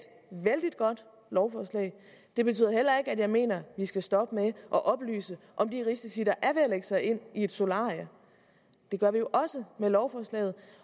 vældig godt lovforslag det betyder heller ikke at jeg mener at vi skal stoppe med at oplyse om de risici der er ved at lægge sig ind i et solarie det gør vi jo også med lovforslaget